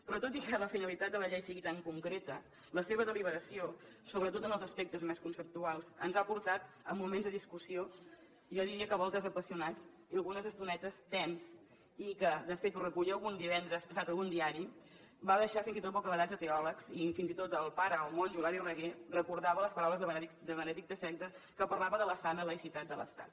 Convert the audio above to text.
però tot i que la finalitat de la llei sigui tan concreta la seva deliberació sobretot en els aspectes més conceptuals ens ha portat a moments de discussió jo diria que a voltes apassionats i algunes estonetes tensos i que de fet ho recollia divendres passat algun diari va deixar fins i tot bocabadats a teòlegs i fins i tot el pare o monjo hilari raguer recordava les paraules de benet xvi que parlava de la sana laïcitat de l’estat